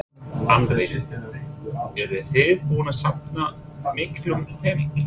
Andri: Eruð þið búin að safna miklum pening?